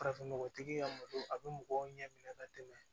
Farafin nɔgɔtigi ka mɔgɔ a bɛ mɔgɔw ɲɛ minɛ ka tɛmɛ